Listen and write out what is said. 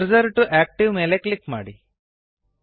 cursor to active ಮೇಲೆ click ಮಾಡಿ